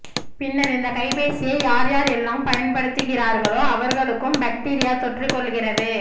பின்னர் இந்த கைபேசியை யார் யார் எல்லாம் பயன்படுத்துகின்றார்களோ அவர்களுக்கும் பக்டீரியா தொற்றிக் கொள்கிறது